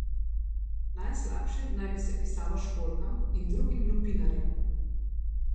Najslabše naj bi se pisalo školjkam in drugim lupinarjem.